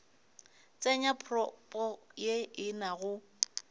tsenya propo ye e nago